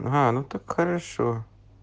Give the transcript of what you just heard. ага ну так хорошо